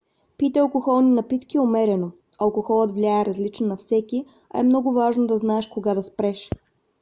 пийте алкохолни напитки умерено. алкохолът влияе различно на всеки а е много важно да знаеш кога да спреш